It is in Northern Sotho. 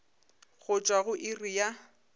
go tšwa go iri ya